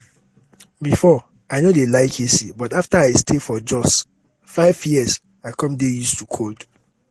before i no dey like ac but after i stay for jos five years i come dey used to cold